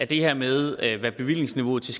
det her med hvad bevillingsniveauet til